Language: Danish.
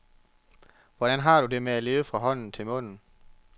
Hvordan har du det med at leve fra hånden til munden?